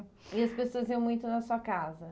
E as pessoas iam muito na sua casa?